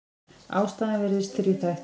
Ástæðan virðist þríþætt.